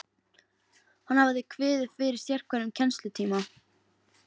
Hann hafði kviðið fyrir sérhverjum kennslutíma.